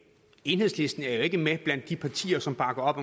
enhedslisten er jo ikke med blandt de partier som bakker op